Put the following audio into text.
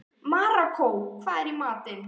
Maríkó, hvað er í matinn?